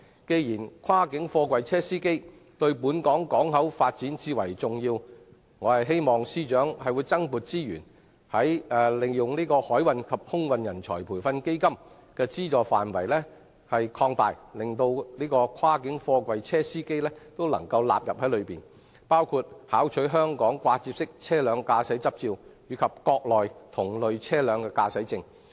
既然跨境貨櫃車司機對本港港口發展最為重要，我希望司長增撥資源，擴大海運及空運人才培訓基金的資助範圍，將跨境貨櫃車司機也一併納入，資助他們考取香港掛接式車輛駕駛執照及國內同類車輛的駕駛證。